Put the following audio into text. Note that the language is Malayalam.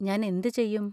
ഞാൻ എന്ത് ചെയ്യും?